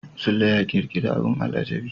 Sule ya ƙirƙiri abin al'ajabi.